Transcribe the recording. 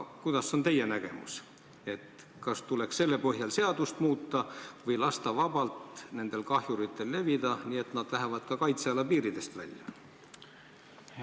Milline on teie nägemus, kas seadust tuleks muuta või tuleks lasta kahjuritel vabalt levida, mille tagajärjel võivad nad aga kaitseala piiridest välja minna?